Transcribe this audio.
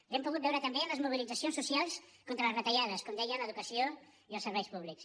l’hem pogut veure també en les mobilitzacions socials contra les retallades com deia a l’educació i als serveis públics